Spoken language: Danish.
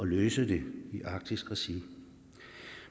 løse dem i arktisk regi